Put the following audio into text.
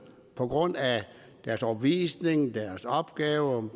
på grund af deres overbevisning deres opgaver